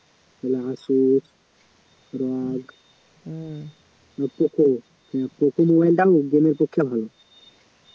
নাহলে asus